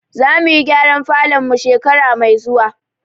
Za mu yi gyaran falon mu shekara mai zuwa.